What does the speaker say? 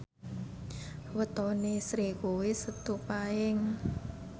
wetone Sri kuwi Setu Paing